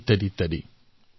এনেধৰণৰ